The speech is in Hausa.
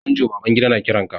Manjo Babangida na kiran ka.